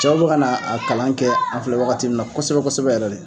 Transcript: Cɛw bɛka na a kalan kɛ , an filɛ wagati min na kosɛbɛ kosɛbɛ yɛrɛ de!